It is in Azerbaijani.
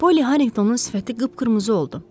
Polly Harrinqtonun sifəti qıpqırmızı oldu.